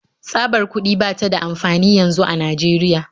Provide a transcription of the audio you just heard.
Tsabar kuɗi ba ta da amfani yanzu a Najeriya